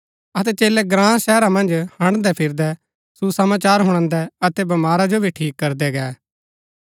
अतै चेलै ग्राँ शहरा मन्ज हड़न्दैफिरदै सुसमाचार हुणादै अतै बमारा जो भी ठीक करदै गै